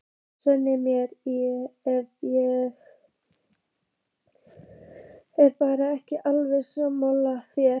Svei mér, ef ég er bara ekki alveg sammála þér.